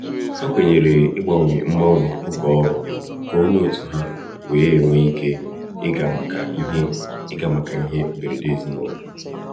ha kwenyere ịgbanwe mgbanwe oge ọrụ ka onye òtù ha wéé nwee ike ịga maka ihe ịga maka ihe mberede ezinụlọ.